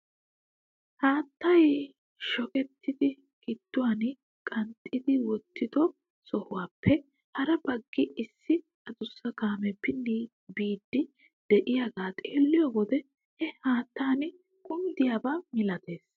Haattay shokkidi gidduwaan qanxxi wottido sohuwaappe hara baggi issi adussa kaamee pinnidi biidi de'iyaagaa xeelliyoo wode he haattan kunddiyaaba milatees.